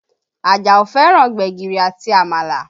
Àjàó fẹ́ràn gbẹ̀gìrì àti Àmàlà